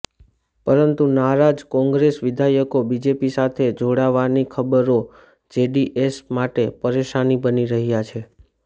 પરંતુ નારાજ કોંગ્રેસ વિધાયકો બીજેપી સાથે જોડાવવાની ખબરો જેડીએસ માટે પરેશાની બની રહ્યા છે